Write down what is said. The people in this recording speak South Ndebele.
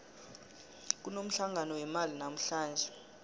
kunomhlangano wemali namuhlanje